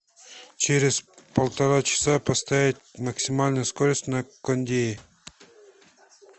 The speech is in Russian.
через полтора часа поставить максимальную скорость на кондее